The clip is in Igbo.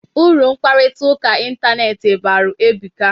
Uru mkparịta ụka ịntanetị balụ ebuka.